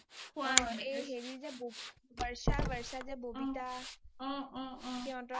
এই হেৰি বৰ্ষা যে বৰ্ষা যে babita হিহঁতৰ